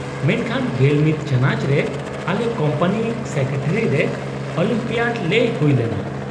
-ᱢᱮᱱᱠᱷᱟᱱ ᱑᱑ ᱪᱟᱱᱟᱡᱽ ᱨᱮ ᱟᱞᱮ ᱠᱳᱢᱯᱟᱱᱤ ᱥᱮᱠᱨᱮᱴᱟᱨᱤ ᱨᱮ ᱚᱞᱤᱢᱯᱤᱭᱟᱰ ᱞᱮ ᱦᱩᱭ ᱞᱮᱱᱟ ᱾